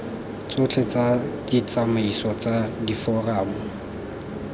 tsotlhe tsa ditsamaiso tsa diforamo